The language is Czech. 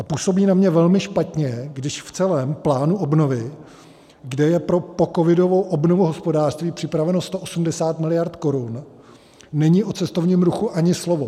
A působí na mě velmi špatně, když v celém plánu obnovy, kde je pro pocovidovou obnovu hospodářství připraveno 180 miliard korun, není o cestovním ruchu ani slovo.